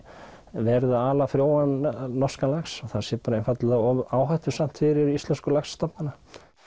verið að ala frjóan norskan lax það sé einfaldlega of áhættusamt fyrir íslensku laxastofnana